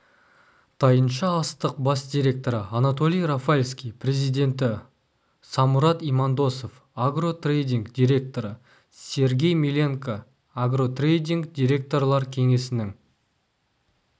тайынша-астық бас директоры анатолий рафальский президенті самұрат имандосов агротрэйдинг директоры сергей миленко агротрэйдинг директорлар кеңесінің